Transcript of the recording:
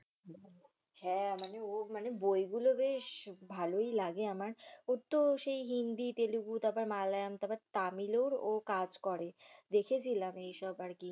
হ্যাঁ মানে ও মানে বইগুলো বেশ ভালোই লাগে আমার ওর তো সেই হিন্দি তেলেগু তারপর মালায়া তারপর তামিলের ও কাজ করে দেখেছিলাম এইসব আরকি।